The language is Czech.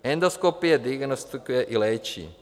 Endoskopie diagnostikuje i léčí.